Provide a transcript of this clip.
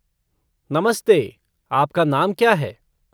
नमस्ते, आपका नाम क्या है?